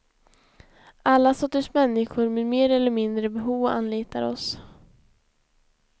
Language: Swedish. Alla sorters människor med mer eller mindre behov anlitar oss.